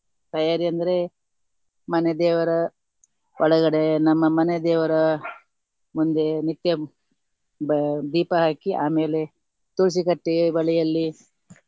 ತಯಾರಿ ಅಂದ್ರೆ ಮನೆ ದೇವರ ಒಳಗಡೆ ನಮ್ಮ ಮನೆ ದೇವರ ಮುಂದೆ ನಿತ್ಯಂ ಬ~ ದೀಪ ಹಾಕಿ ಆಮೇಲೆ ತುಳಸಿ ಕಟ್ಟೆ ಬಳಿಯಲ್ಲಿ.